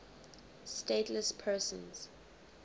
stateless persons